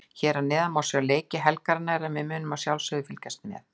Hér að neðan má sjá leiki helgarinnar en við munum að sjálfsögðu fylgjast vel með.